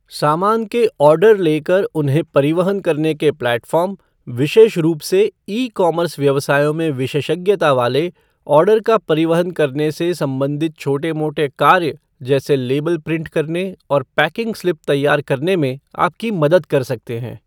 सामान के ऑर्डर ले कर उन्हें परिवहन करने के प्लेटफ़ॉर्म, विशेष रूप से ई कॉमर्स व्यवसायों में विशेषज्ञता वाले, ऑर्डर का परिवहन करने से संबंधित छोटे मोटे कार्य जैसे लेबल प्रिंट करने और पैकिंग स्लिप तैयार करने में आपकी मदद कर सकते हैं।